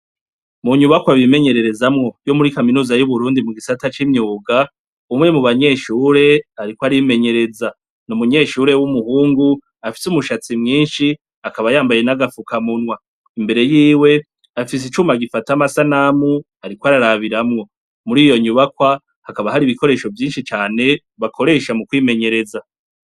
Mu nyubakwa abimenyererezamwo yo muri kaminuza y'uburundi mu gisata c'imyuga umwe mu banyeshure, ariko arimenyereza ni umunyeshure w'umuhungu afise umushatsi mwinshi akaba yambaye n'agafuka munwa imbere yiwe afise icuma gifata amasanamu, ariko ararabiramwo muri iyo nyubakwa hakaba hari ibikoresho vyinshi cane bakoresha mu kwimenyereza.